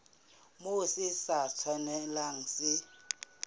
moo se sa tshwanelang se